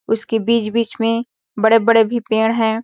उसके बीच बीच में बड़े-बड़े भी पेड़ है।